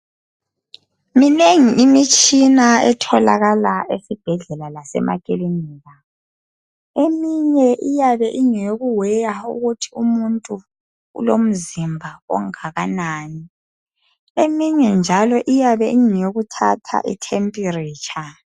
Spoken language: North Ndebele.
Minengi imitshina etholakala esibhedlela lasemakilinika. Eminye uyabe ingeyokuweya ukuthi umuntu ulomzimba ongakanani, eminye njalo iyabe ingeyokuthatha itempiritsha.